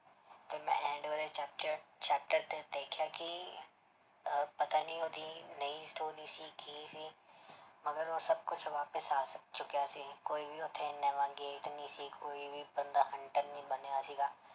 ਤੇ ਮੈਂ end ਵਾਲੇ 'ਚ chapter ਤੇ ਦੇਖਿਆ ਕਿ ਅਹ ਪਤਾ ਨੀ ਉਹਦੀ ਨਈਂ story ਸੀ ਕੀ ਸੀ ਮਗਰ ਉਹ ਸਭ ਕੁਛ ਵਾਪਿਸ ਆ ਚੁੱਕਿਆ ਸੀ ਕੋਈ ਵੀ ਉੱਥੇ ਨਵਾਂ gate ਨੀ ਸੀ ਕੋਈ ਵੀ ਬੰਦਾ hunter ਨੀ ਬਣਿਆ ਸੀਗਾ